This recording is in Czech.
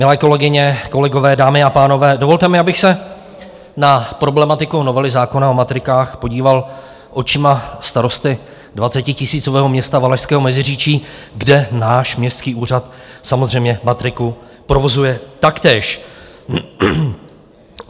Milé kolegyně, kolegové, dámy a pánové, dovolte mi, abych se na problematiku novely zákona o matrikách podíval očima starosty dvacetitisícového města Valašského Meziříčí, kde náš městský úřad samozřejmě matriku provozuje taktéž.